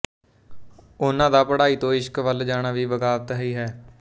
ਉਹਨਾਂ ਦਾ ਪੜ੍ਹਾਈ ਤੋਂ ਇਸ਼ਕ ਵੱਲ ਜਾਣਾ ਵੀ ਬਗਾਵਤ ਹੀ ਹੈ